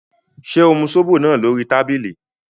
Ṣé o mu zobo náà lórí tábìlì?